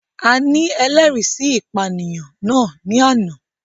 A ni ẹlẹri si ipaniyan nas ni ana